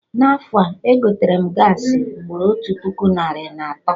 Na afọ a, egoterem gaasị ugboro otu puku narị na atọ